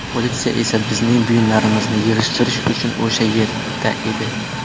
Politsiya esa bizning buyumlarimizni yig‘ishtirish uchun o‘sha yerda edi.